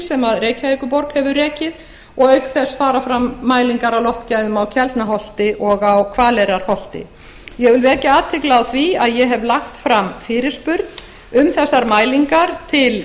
stöð sem reykjavíkurborg hefur rekið og auk þess fara fram mælingar á loftgæðum á keldnaholti og hvaleyrarholti ég vek athygli á því að ég hef lagt fram fyrirspurn um þessar mælingar til